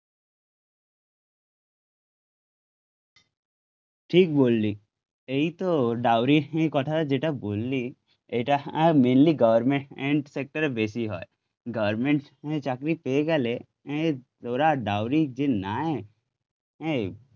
ঠিক বললি এই তো ডাউরির নিয়ে কথা যেটা বললি এটা মেইনলি গভর্নমেন্ট সেক্টরে বেশি হয় গভর্নমেন্ট এ চাকরি পেয়ে গেলে ওরা ডাউরি যে নেয় এ